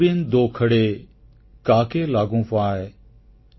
ଗୁରୁଗୋବିନ୍ଦ ଦୋଉ ଖଡ଼େ କାକେ ଲାଗୁଁ ପାଁୟ୍